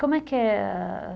Como é que é? ãh...